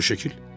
Fotoşəkil?